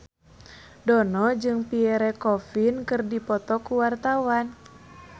Dono jeung Pierre Coffin keur dipoto ku wartawan